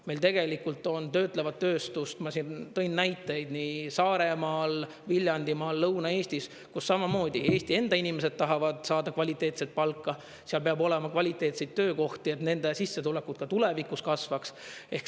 Meil tegelikult on töötlevat tööstust, ma tõin näiteid, nii Saaremaal, Viljandimaal, Lõuna-Eestis, kus samamoodi Eesti enda inimesed tahavad saada kvaliteetset palka, seal peab olema kvaliteetseid töökohti, et nende sissetulekud ka tulevikus kasvaks.